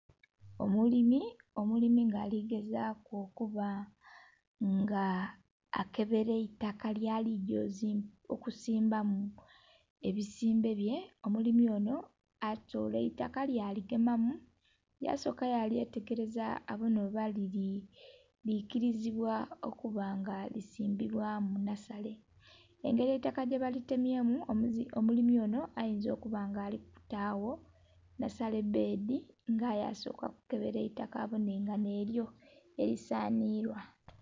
Omulimi, omulimi nga aligezaku okuba nga akebela eitaka lyali gya okusimbamu ebisimbe bye, omulimi onho atola eitaka yaligemamu yasoka yalyetegeleza abonhe oba likilizibwa okuba nga lisimbibwa mu nhasale, engeli eitaka gyebalitemye mu omulimi onho ayinza okuba nga alikutagho nhasale bbedhi nga aye asooka kukebela eitaka abonhe nga nhelyo eli sanhilwa.